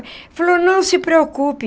Ele falou, não se preocupe.